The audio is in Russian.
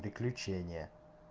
приключения